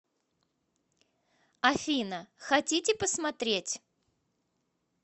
афина хотите посмотреть